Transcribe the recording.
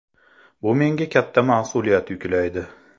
Bu menga katta mas’uliyat yuklaydi”.